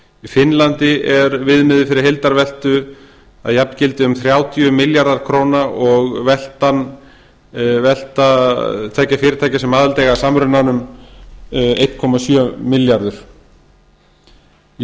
í finnlandi er viðmiðið fyrir heildarveltu að jafngildi um þrjátíu milljarðar króna og velta tveggja fyrirtækja sem aðild eiga að samrunanum einn komma sjö milljarðar króna í